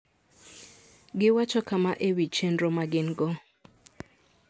Giwacho kama e wi chenro ma gin-go: